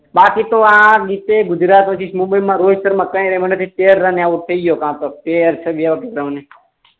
બાકી તો આ ગુજરાત રોહિત શર્મા